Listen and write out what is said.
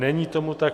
Není tomu tak.